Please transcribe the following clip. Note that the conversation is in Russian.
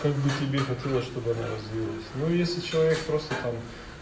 как бы тебе хотелось чтобы она развилась ну если человек просто там